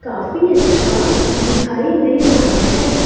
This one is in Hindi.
काफी अच्छा दिखाई दे रहा है।